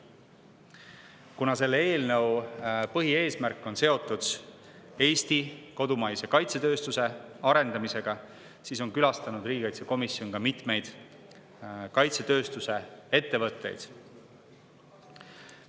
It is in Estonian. Kuna selle eelnõu põhieesmärk on seotud Eesti kodumaise kaitsetööstuse arendamisega, siis on külastanud riigikaitsekomisjon ka mitmeid kaitsetööstuse ettevõtteid.